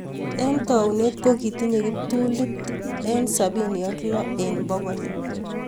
Eng taunet kokitinyee kiptulit eng sapini ak loo eng pokol